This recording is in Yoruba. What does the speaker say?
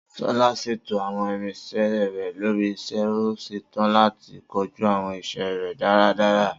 Sola ṣètò àwọn irinṣẹ́ rẹ̀ lórí iṣẹ́, ó ṣetán láti kojú àwọn iṣẹ́ rẹ̀ dáradára.